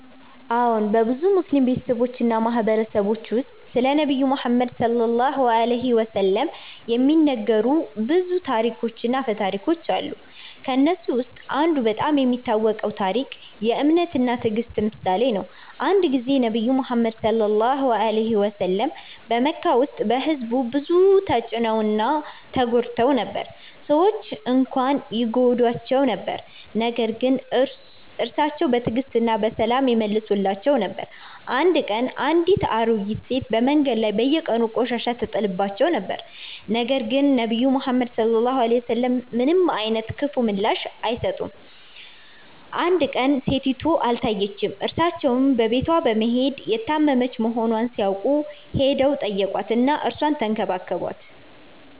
አዎን፣ በብዙ ሙስሊም ቤተሰቦች እና ማህበረሰቦች ውስጥ ስለ ነብዩ መሐመድ (ሰ.ዐ.ወ) የሚነገሩ ታሪኮች እና አፈ ታሪኮች አሉ። ከእነሱ ውስጥ አንዱ በጣም የሚታወቀው ታሪክ የ“እምነት እና ትዕግስት” ምሳሌ ነው። አንድ ጊዜ ነብዩ መሐመድ (ሰ.ዐ.ወ) በመካ ውስጥ በሕዝቡ ብዙ ተጭነው እና ተጎድተው ነበር። ሰዎች እንኳን ይጎዱት ነበር ነገር ግን እርሱ በትዕግስት እና በሰላም ይመልሳቸው ነበር። አንድ ቀን አንድ አሮጌ ሴት በመንገድ ላይ በየቀኑ ቆሻሻ ይጥልበት ነበር፣ ነገር ግን ነብዩ መሐመድ ምንም አይነት ክፉ ምላሽ አልሰጠም። አንድ ቀን ሴቲቱ አልታየችም፣ እርሱም በቤቷ በመሄድ ታመመች መሆኗን ሲያውቅ ሄዶ ተጠይቋት እና እርሷን ተንከባከባት።